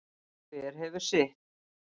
Hver hefur sitt.